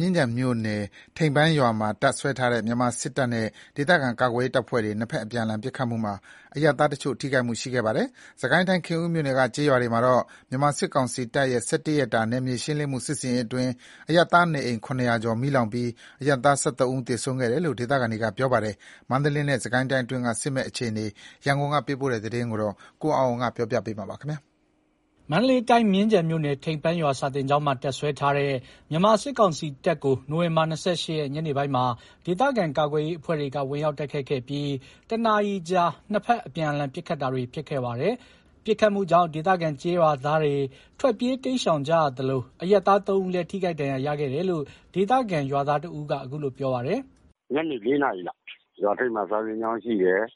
မြင်းခြံမြို့နယ် ထိန်ပန်းရွာမှာ တပ်စွဲထားတဲ့ မြန်မာစစ်တပ်နဲ့ ဒေသခံကာကွယ်ရေး တပ်ဖွဲ့တွေ နှစ်ဘက် အပြန်အလှန် ပစ်ခတ်မှုမှာ အရပ်သားတချို့ ထိခိုက်မှုရှိခဲ့ပါတယ်။ စစ်ကိုင်း ခင်ဦးမြို့နယ်က ကျေးရွာတွေမှာတော့ မြန်မာစစ်ကောင်စီတပ်ရဲ့ ၁၁ ရက်တာ နယ်မြေရှင်းလင်းမှု စစ်ဆင်ရေးအတွင်း အရပ်သားနေအိမ် ၇၀၀ ကျော် မီးလောင်ပြီး အရပ်သား ၁၃ ဦး သေဆုံးခဲ့တယ်လို့ ဒေသခံတွေက ပြောကြပါတယ်။ မန္တလေးနဲ့ စစ်ကိုင်းတိုင်းအတွင်းက စစ်မက်အခြေအနေ ရန်ကုန်သတင်းပေးပို့တာကို ကိုအောင်အောင်က တင်ပြပေးထားပါတယ်။ မန္တလေးတိုင်း မြင်းခြံမြို့နယ် ထိန်ပန်းရွာ စာသင်ကျောင်းမှာ တပ်စွဲထားတဲ့ မြန်မာစစ်ကောင်စီတပ်ကို နိုဝင်ဘာ ၂၈ ရက် ညနေပိုင်းမှာ ဒေသခံကာကွယ်ရေးအဖွဲ့တွေက ဝင်ရောက်တိုက်ခိုက်ခဲ့ပြီး တနာရီကြာ နှစ်ဘက်အပြန်အလှန် ပစ်ခတ်တာတွေ ဖြစ်ခဲ့ပါတယ်။ ပစ်ခတ်မှုကြောင့် ဒေသခံ ကျေးရွာသားတွေ ထွက်ပြေးတိမ်းရှောင်ကြရသလို အရပ်သား ၃ ဦးလည်း ထိခိုက်ဒဏ်ရာရရှိခဲ့တယ်လို့ ဒေသခံ ကျေးရွာသားတဦးက အခုလိုပြောပါတယ်။ “ညနေ ၄ နာရီလောက် ရွာထိပ်မှာ စာသင်ကျောင်းရှိတယ်။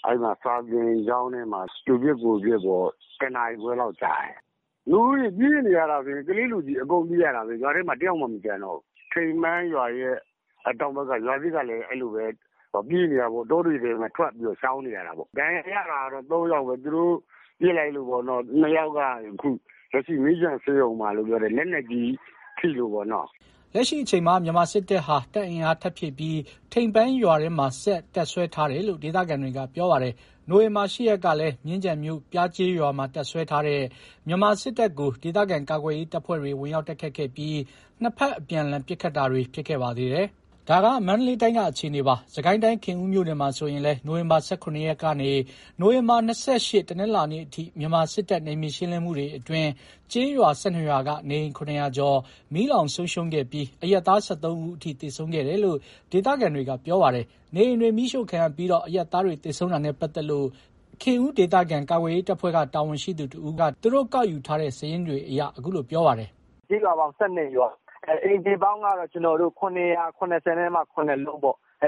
စာသင်ကျောင်းထဲမှာ သူပစ်ကိုယ်ပစ်ပေါ့။ ၁ နာရီခွဲလောက် ကြာတယ်။ ကလေးလူကြီး အကုန်ပြေးနေရတယ်။ ရွာထဲမှာ တယောက်မှ မကျန်တော့ဘူး။ ထိန်ပန်းရွာရဲ့ တောင်ဘက် ရွာသစ် ကလည်း အဲ့လိုပဲ ပြေးနေရတာပေါ့။ တောတွေထဲ ထွက်ပြီး ရှောင်နေရတာပေါ့။ ဒဏ်ရာရတာက ၃ ယောက်ပေါ့။ သူတို့ ပစ်လိုက်လို့ မြင်းခြံဆေးရုံမှာ လက်နက်ကြီးထိလို့ပေါ့။” လက်ရှိအချိန်မှာ မြန်မာစစ်တပ်ဟာ တပ်အင်အား ထပ်ဖြည့်ပြီး ထိန်ပန်းရွာထဲမှာ ဆက်လက်တပ်စွဲထားတယ်လို့ ဒေသခံတွေက ပြောပါတယ်။ နိုဝင်ဘာ ၈ ရက်ကလည်း မြင်းခြံမြို့ ပျားကျေးရွာမှာ တပ်စွဲထားတဲ့ မြန်မာစစ်တပ်ကို ဒေသခံကာကွယ်ရေး တပ်ဖွဲ့တွေ ဝင်ရောက်တိုက်ခိုက်ခဲ့ပြီး နှစ်ဘက်အပြန်အလှန် ပစ်ခတ်ခဲ့ပါသေးတယ်။ ဒါက မန္တလေးတိုင်းက အခြေအနေပါ။ စစ်ကိုင်းတိုင်း ခင်းဦးမြို့နယ်မှာဆိုရင်လည်း နိုဝင်ဘာ ၁၇ ရက်ကနေ နိုဝင်ဘာ ၂၈ တနင်္လာနေ့အထိ မြန်မာ စစ်တပ်နယ်မြေရှင်းလင်းမှုတွေအတွင်း ကျေးရွာ ၁၂ ရွာက နေအိမ် ၇၀၀ ကျော် မီးလောင်ဆုံးရှုံးခဲ့ပြီး အရပ်သား ၁၃ ဦးအထိ သေဆုံးခဲ့တယ်လို့ ဒေသခံတွေကပြောပါတယ်။ နေအိမ်တွေ မီးရှို့ခံရပြီး အရပ်သားတွေ သေဆုံးတာနဲ့ ပတ်သက်လို့ ခင်ဦး ဒေသခံကာကွယ်ရေး တပ်ဖွဲ့က တာဝန်ရှိသူတဦးက သူတို့ ကောက်ယူထားတဲ့ စာရင်းတွေအရ အခုလိုပြောပါတယ်။ “ကျေးရွာပေါင်းက ၁၂ ရွာ အိမ်ခြေပေါင်းက ၇၇၇ လုံးပေါ့။ ဖ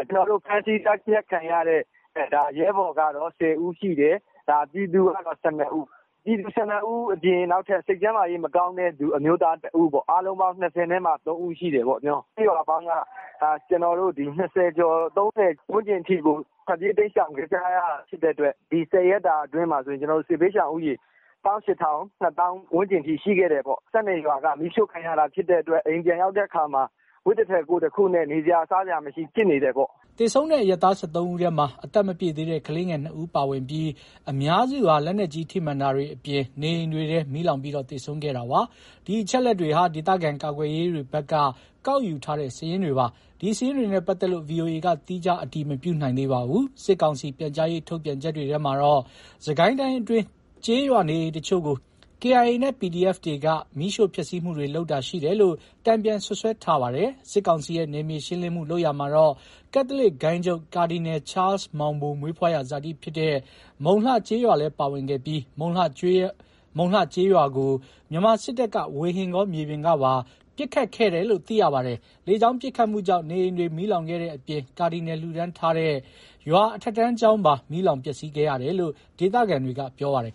မ်းဆီးသတ်ဖြတ်ခံရတဲ့ ရဲဘော်ကတော့ ၁၀ ဦးရှိတယ်။ ပြည်သူကတော့ ၁၂ ဦး။ ပြည်သူ ၁၂ ဦးအပြင် နောက်ထပ် စိတ်ကျန်းမာရေးမကောင်းတဲ့ အမျိုးသား ၁ ဦးပေါ့၊ အားလုံးပေါင်း ၂၃ ဦးရှိတယ်။ ကျေးရွာပေါင်းက ၂၀ ကျော် ၃၀ ဝန်းကျင်အထိကို ထွက်ပြေးတိမ်းရှောင်နေကြရတာဖြစ်တဲ့အတွက် ဒီ ၁၀ ရက်တာအတွင်းမှာဆိုရင် စစ်ဘေးရှောင်ဦးရေ ၁၈,၀၀၀/၂၀,၀၀၀ ဝန်းကျင်အထိရှိခဲ့တယ်ပေါ့။ ၁၂ ရွာက မီးရှို့ခံရတာဖြစ်တဲ့အတွက် အိမ်ပြန်ရောက်တဲ့အခါမှာ အဝတ်တထည် ကိုယ်တခုနဲ့ နေစရာ စားစရာမရှိ ဖြစ်နေတယ်ပေါ့။” သေဆုံးတဲ့ အရပ်သား ၁၃ ဦးထဲမှာ အသက်မပြည့်သေးတဲ့ ကလေးငယ် ၂ ဦးပါဝင်ပြီး အများစုဟာ လက်နက်ကြီး ထိမှန် တာတွေအပြင် နေအိမ်တွေထဲ မီးလောင်ပြီး သေဆုံးခဲ့ရတာပါ။ ဒီအချက်အလက်တွေဟာ ဒေသခံကာကွယ်ရေးတွေဘက်က ကောက်ယူထားတဲ့ စာရင်းတွေပါ။ ဒီစာရင်းတွေနဲ့ပတ်သက်လို့ ဗွီအိုအေက သီးခြားအတည်မပြုနိုင်သေးပါဘူး။ စစ်ကောင်စီ ပြန်ကြားရေးထုတ်ပြန်ချက်တွေထဲမှာတော့ စစ်ကိုင်းတိုင်းအတွင်း ကျေးရွာနေအိမ်တချို့ကို KIA နဲ့ PDF တွေက မီးရှို့ဖျက်ဆီးမှုတွေလုပ်တာရှိတယ်လို့ တန်ပြန်စွပ်စွဲထားပါတယ်။ စစ်ကောင်စီရဲ့ နယ်မြေရှင်းလင်းမှုလုပ်ရာမှာ ကက်သလစ်ဂိုဏ်းချုပ် ကာဒီနယ်ချားလ်စ်မောင်ဘို မွေးဖွားရာဇာတိဖြစ်တဲ့ မုံလှကျေးရွာလည်းပါဝင်ခဲ့ပြီး မုံလှကျေးရွာကို မြန်မာစစ်တပ်က ဝေဟင်ကော မြေပြင်ကပါ ပစ်ခတ်တာတွေ ပြုလုပ်ခဲ့တယ်လို့ သိရပါတယ်။ လေကြာင်းပစ်ခတ်မှုကြောင့် နေအိမ်တွေ မီးလောင်ခဲ့တဲ့အပြင် ကာဒီနယ်လှူဒါန်းထားတဲ့ ကျေးရွာ အထက်တန်းကျောင်းပါ မီးလောင်ပျက်စီးခဲ့ရတယ်လို့ ဒေသခံတွေက ပြောပါတယ်